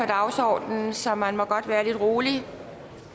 dagsordenen så man må godt være lidt rolig